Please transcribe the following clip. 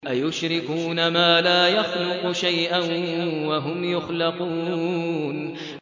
أَيُشْرِكُونَ مَا لَا يَخْلُقُ شَيْئًا وَهُمْ يُخْلَقُونَ